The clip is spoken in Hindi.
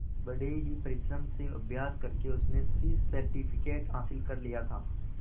बड़े ही परिश्रम से अभ्यास करके उसने सी सर्टिफिकेट हासिल कर लिया था